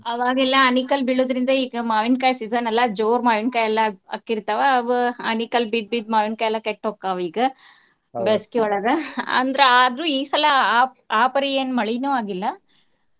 ಆವಾಗೆಲ್ಲಾ ಆಣಿಕಲ್ಲ ಬೀಳೋದ್ರಿಂದ ಈಗ ಮಾವಿನಕಾಯಿ season ಅಲ್ಲಾ ಜೋರ್ ಮಾವಿನಕಾಯೆಲ್ಲಾ ಆಕ್ಕಿರ್ತಾವ ಅವ್ ಆಣಿಕಲ್ಲ ಬಿದ್ ಬಿದ್ ಮಾವಿನಕಾಯಿಯೆಲ್ಲಾ ಕೆಟ್ ಹೊಕ್ಕಾವ್ ಈಗ. ಬ್ಯಾಸ್ಗಿಯೊಳಗ ಅಂದ್ರ ಆದ್ರು ಈಸಲಾ ಆ~ ಆಪರಿ ಏನ್ ಮಳಿನು ಆಗಿಲ್ಲಾ.